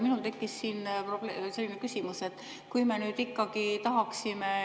Minul tekkis siin küsimus.